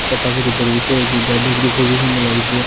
যা প্রাকৃতিক পরিবেশ রয়েছে যা দেখতে খুবই সুন্দর লাগছে।